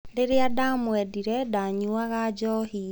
Rĩrĩa ndamwendire, ndaanyuaga njohi.